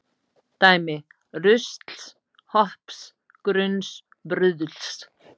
Dæmi: rusls, hopps, grunns, bruðls.